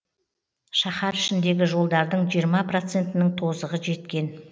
шаһар ішіндегі жолдардың жиырма процентінің тозығы жеткен